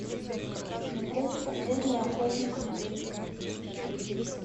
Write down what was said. смотреть последний охотник на ведьм